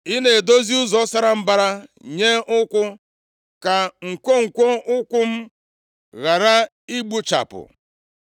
Ị na-edozi ụzọ sara mbara nye ụkwụ. Ka nkwonkwo ụkwụ m ghara ịgbụchapụ.